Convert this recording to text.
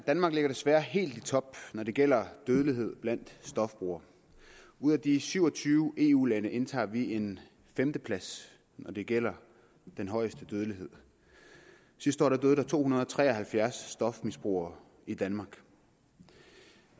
danmark ligger desværre helt i top når det gælder dødelighed blandt stofbrugere ud af de syv og tyve eu lande indtager vi en femteplads når det gælder den højeste dødelighed sidste år døde to hundrede og tre og halvfjerds stofmisbrugere i danmark